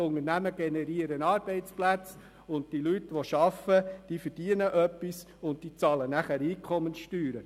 Die Unternehmen generieren Arbeitsplätze, und die arbeitende Bevölkerung verdient etwas und zahlt damit Einkommenssteuern.